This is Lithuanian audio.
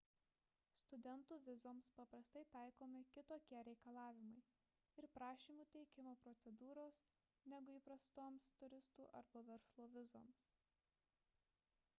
studentų vizoms paprastai taikomi kitokie reikalavimai ir prašymų teikimo procedūros negu įprastoms turistų arba verslo vizoms